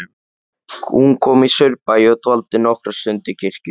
Hún kom í Saurbæ og dvaldi nokkra stund í kirkjunni.